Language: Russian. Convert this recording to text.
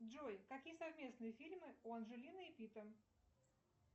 джой какие совместные фильмы у анджелины и питта